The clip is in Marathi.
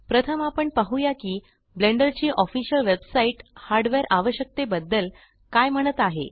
प्रथम आपण पाहुया की ब्लेंडर ची ऑफिसल वेबसाइट हार्डवेअर आवश्यकते बद्दल काय म्हणत आहे